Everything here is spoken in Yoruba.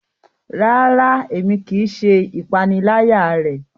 Rara, Èmí kìí ṣe ìpaniláyà rẹ